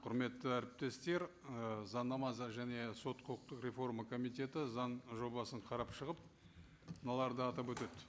құрметті әріптестер ы заңнама және сот құқықтық реформа комитеті заң жобасын қарап шығып мыналарды атап өтеді